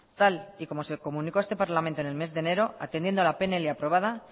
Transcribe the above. tal y como se comunicó a este parlamento en el mes de enero atendiendo a la pnl aprobada